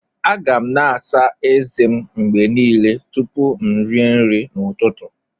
A ga m na-àsá ezé m mgbe niile tupu m rie nri n'ụtụtụ